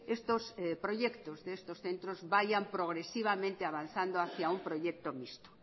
estos proyectos de estos centros vayan progresivamente avanzando hacia un proyecto mixto